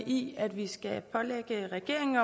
i at vi skal pålægge regeringen